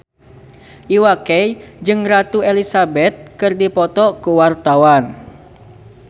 Iwa K jeung Ratu Elizabeth keur dipoto ku wartawan